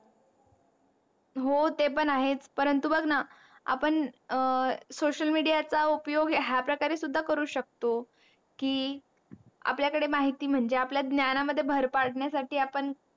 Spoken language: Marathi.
हो ते पण आहेच परंतु बग णा आपण अं social media चा उपयोग ह्या प्रकारे सुद्धा करू शकतो. की आपल्या कडे माहीती म्हणजे आपल्या ज्ञाना मध्ये भर पाजण्या साठी आपण